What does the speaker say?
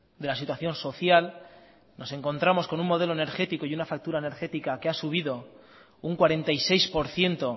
de la situación social nos encontramos con un modelo energético y una factura energética que ha subido un cuarenta y seis por ciento